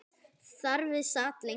Þar við sat lengi.